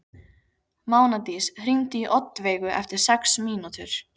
Mánadís, hringdu í Oddveigu eftir sex mínútur.